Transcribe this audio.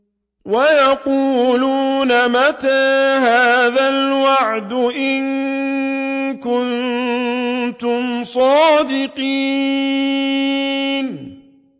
وَيَقُولُونَ مَتَىٰ هَٰذَا الْوَعْدُ إِن كُنتُمْ صَادِقِينَ